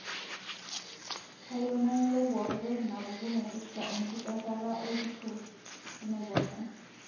kayieu nayiolou pooki toki napuku naipirta enkiperrata olturo lenaiposha